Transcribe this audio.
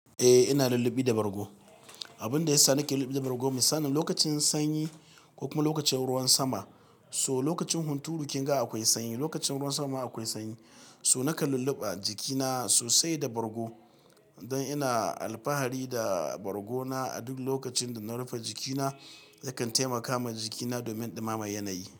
Eh ina lullubi da bargo. Abun da yasa nake lullubi da bargo misali lokacin sanyi ko kuma lokacin ruwan sama, so lokacin hunturu kinga akwai sanyi, lokacin ruwan sama akwai sanyi. So naka lulluɓa jikina sosai da bargo don ina alfahari da bargona a duk lokacin da na rufe jikina. Dakan taimaka ma jikina domin ɗumama yanayi.